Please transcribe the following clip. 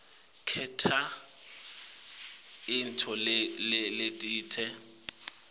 kwenta intfo letsite